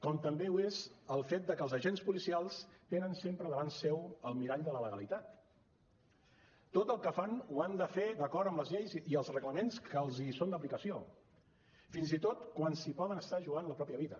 com també ho és el fet que els agents policials tenen sempre davant seu el mirall de la legalitat tot el que fan ho han de fer d’acord amb les lleis i els reglaments que els són d’aplicació fins i tot quan s’hi poden estar jugant la pròpia vida